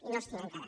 i no els tinc encara